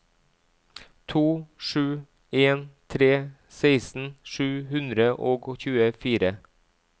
to sju en tre seksten sju hundre og tjuefire